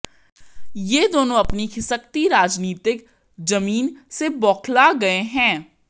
ये दोनों अपनी खिसकती राजनीतिक जमीन से बौखला गए हैं